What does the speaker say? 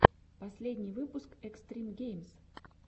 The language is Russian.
последний выпуск экстрим геймз